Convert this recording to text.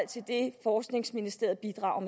til det forskningsministeriet bidrager